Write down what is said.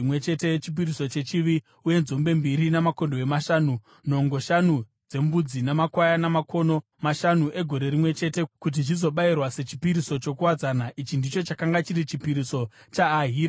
uye nzombe mbiri, makondobwe mashanu, nhongo shanu dzembudzi namakwayana makono mashanu egore rimwe chete kuti zvizobayirwa sechipiriso chokuwadzana. Ichi ndicho chakanga chiri chipiriso chaAhira mwanakomana waEnani.